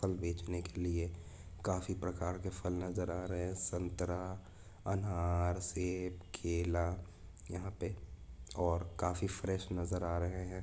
बेचने के लिए काफी प्रकार के फल नजर आ रहे हैं संतरा अनार सेब केला यहां पर और काफी फ्रेश नजर आ रहे हैं।